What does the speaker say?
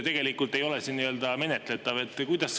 Tegelikult ei ole see menetletav.